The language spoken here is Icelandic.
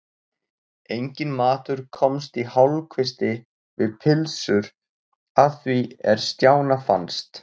Enginn matur komst í hálfkvisti við pylsur að því er Stjána fannst.